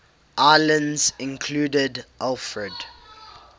islands included alfred